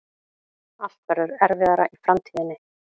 Allt verður erfiðara í framtíðinni.